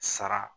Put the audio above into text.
Sara